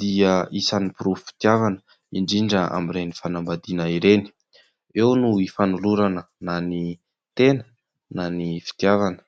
dia isan'ny porofom-pitiavana, indrindra amin'ireny fanambadiana ireny ; eo no hifanolorana na tena na ny fitiavana.